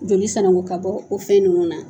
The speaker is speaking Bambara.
Joli sanango ka bɔ o fɛn ninnu na